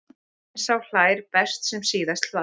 En sá hlær best sem síðast hlær.